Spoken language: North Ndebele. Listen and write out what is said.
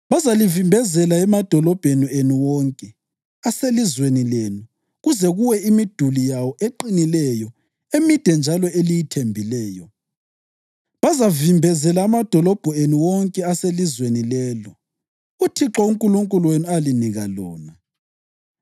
Bazalivimbezela emadolobheni enu wonke aselizweni lenu kuze kuwe imiduli yawo eqinileyo emide njalo eliyithembileyo. Bazavimbezela amadolobho enu wonke aselizweni lelo uThixo uNkulunkulu wenu alinika lona.